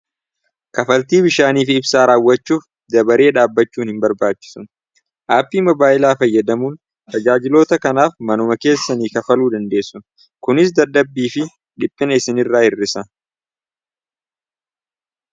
kafaltii bishaanii fi ibsaa raawwachuuf dabaree dhaabbachuun hin barbaachisu aapii mabaayilaa fayyadamuun tajaajiloota kanaaf manuma keessanii kafaluu dandeessu kunis dardabbii fi dhiphina isin irraa hirrisa